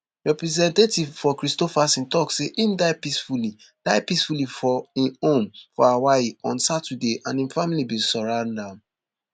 representative for kristofferson tok say im die peacefully die peacefully for im home for hawaii on saturday and im family bin surround am